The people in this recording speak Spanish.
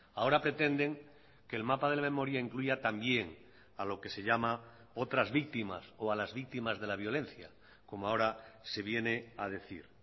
ahora pretenden que el mapa de la memoria incluya también a lo que se llama otras víctimas o a las víctimas de la violencia como ahora se viene a decir